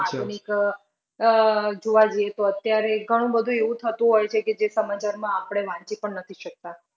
આધુનિક અમ જોવા જઈએ તો અત્યારે ઘણું બધું એવું થતું હોઈ છે કે જે સમાચારમાં આપડે વાંચી પણ નથી શકતા.